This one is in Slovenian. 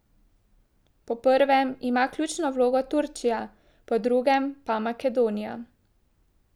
Po prvem ima ključno vlogo Turčija, po drugem pa Makedonija.